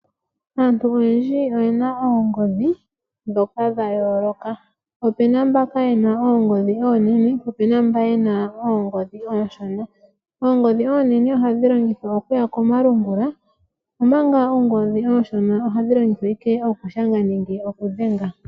Aantu oyendji oye na oongodhi ndhoka dha yooloka, opu na mbaka yena oongodhi oonene, po opu na mboka yena oongodhi oonshona . Oongodhi onene ohadhi longithwa okuya komalungula, omanga oongodhi oonshona ohadhi longithwa owala okushanga nenge okudhenga.